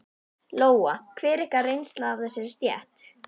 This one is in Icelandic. Lóa: Hver er ykkar reynsla af þessari stétt?